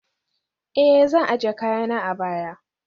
eh, zan ajiye kayana a baya